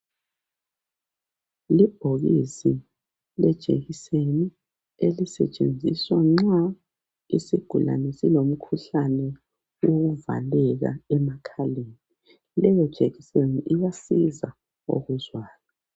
Libhokisi lejekiseni elisetshenziswa nxa isigulane silomkhuhlane wokuvaleka emakhaleni. Leyo jekiseni iyasiza okuzwayo.